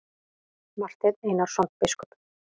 Marteinn Einarsson biskup!